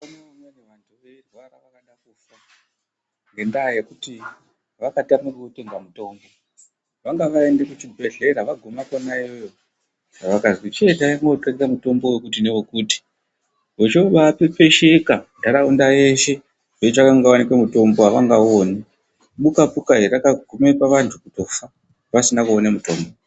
...ngendaa yekuti vakatama kokutenga mutombo. vanga vaenda kuchibhehlera vaguma kona iyoyo vakazwi chiendai mootenge mutombo wokuti newokuti. Vochoobaapepesheka ntaraunda yeshe veitsvake kunotengwa mutombo havangauoni. Buka puka vakagume vantu kutofa, vasina kuone mutombo.